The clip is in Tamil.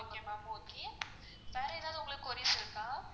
okay ma'am okay வேற ஏதாவது உங்களுக்கு இருக்கா?